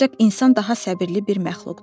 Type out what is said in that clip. Ancaq insan daha səbirli bir məxluqdu.